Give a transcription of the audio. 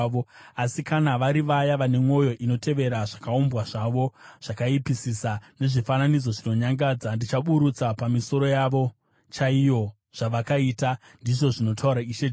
Asi kana vari vaya vane mwoyo inotevera zvakaumbwa zvavo zvakaipisisa nezvifananidzo zvinonyangadza, ndichaburutsa pamisoro yavo chaiyo zvavakaita, ndizvo zvinotaura Ishe Jehovha.”